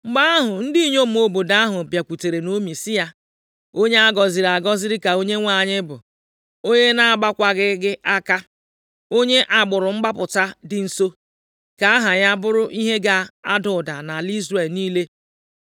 Mgbe ahụ, ndị inyom obodo ahụ bịakwutere Naomi sị ya, “Onye a gọziri agọzi ka Onyenwe anyị bụ, onye na-agbawaghị gị aka onye agbụrụ mgbapụta dị nso. Ka aha ya bụrụ ihe ga-ada ụda nʼala Izrel niile.